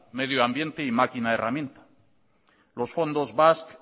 medio ambiente y máquina herramienta los fondos basque